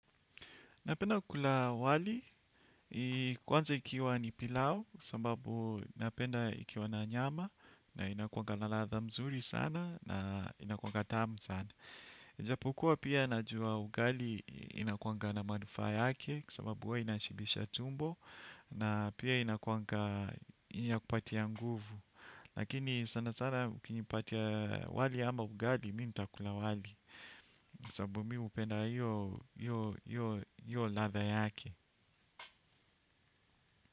Napenda kukula wali kwanza ikiwa ni pilau sambabu napenda ikiwa na nyama. Na inakuwanga na ladha mzuri sana na inakuwanga tamu sana. Japokuwa pia najua ugali inakuwanga na manufaa yake. Kwa sababu huwa inashibisha tumbo. Na pia inakuwanga inakupatia nguvu. Lakini sana sana ukinipatia wali ama ugali mi nitakula wali sabu mi upenda hio ladha yake.